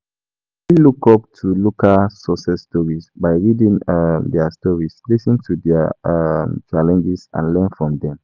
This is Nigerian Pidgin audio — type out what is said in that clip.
How you fit look up to local up to local success stories as inspiration and motivation?